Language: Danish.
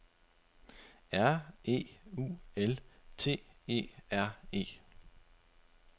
R E U L T E R E